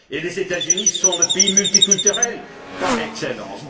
Les États Unis sont le pays multiculturel par excellence.